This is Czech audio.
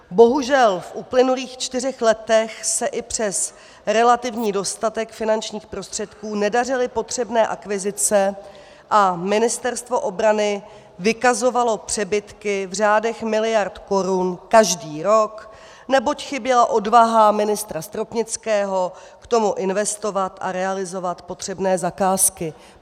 Bohužel v uplynulých čtyřech letech se i přes relativní dostatek finančních prostředků nedařily potřebné akvizice a Ministerstvo obrany vykazovalo přebytky v řádech miliard korun každý rok, neboť chyběla odvaha ministra Stropnického k tomu investovat a realizovat potřebné zakázky.